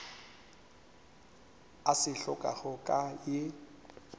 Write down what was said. a se hlokago ka ye